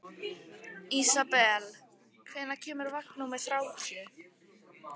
Ísabel, hvenær kemur vagn númer þrjátíu?